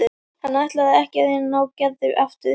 Hann ætlaði ekki að reyna að ná Gerði aftur.